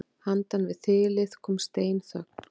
Handan við þilið kom steinþögn.